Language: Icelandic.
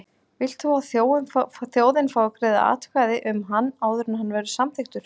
Vilt þú að þjóðin fái að greiða atkvæði um hann áður en hann verður samþykktur?